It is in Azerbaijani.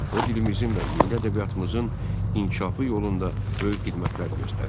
O dilimizin və milli ədəbiyyatımızın inkişafı yolunda böyük xidmətlər göstərdi.